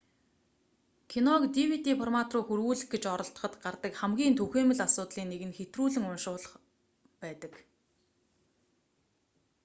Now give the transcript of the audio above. киног dvd формат руу хөрвүүлэх гэж оролдоход гардаг хамгийн түгээмэл асуудлын нэг нь хэтрүүлэн уншуулах байдаг